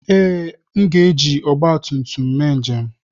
Ee, m ga-eji ọgba tum tum eme njem.